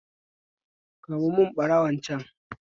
Kamo mun barawon can